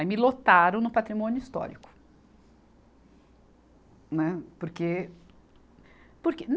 Aí me lotaram no Patrimônio Histórico. né, porque, porque